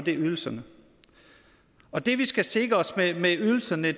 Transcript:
ydelserne og det vi skal sikre os med ydelserne